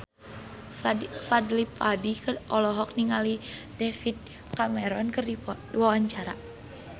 Fadly Padi olohok ningali David Cameron keur diwawancara